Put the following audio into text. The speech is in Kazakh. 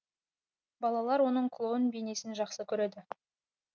балалар оның клоун бейнесін жақсы көреді